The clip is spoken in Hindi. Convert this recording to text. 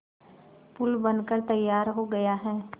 पुल बनकर तैयार हो गया है